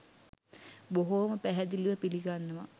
බොහොම පැහැදිලිව පිළිගන්නවා.